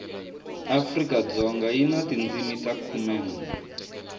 afrikadzoga yi na tindzimi ta khumenwe